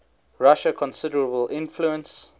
russia considerable influence